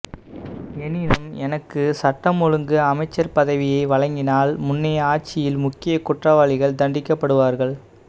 எனினும் எனக்கு சட்டம் ஒழுங்கு அமைச்சுப் பதவியை வழங்கினால் முன்னைய ஆட்சியில் முக்கிய குற்றவாளிகள் தண்டிக்கப்படுவார்கள்